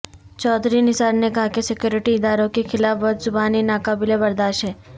چوہدری نثار نے کہا کہ سکیورٹی اداروں کے خلاف بدزبانی ناقابل برداشت ہے